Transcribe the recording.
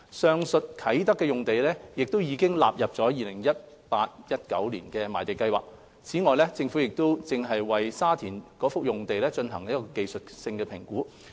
上述啟德用地已納入 2018-2019 年度賣地計劃，此外，政府正為沙田用地進行技術性評估。